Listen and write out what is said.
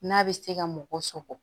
N'a bɛ se ka mɔgɔ sɔgɔ